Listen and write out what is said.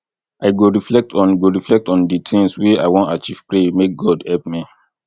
i go reflect on go reflect on di tins wey i wan achieve pray make god help me